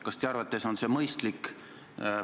Kas teie arvates on see mõistlik?